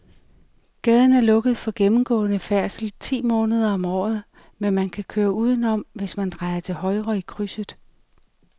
Gaden er lukket for gennemgående færdsel ti måneder om året, men man kan køre udenom, hvis man drejer til højre i krydset.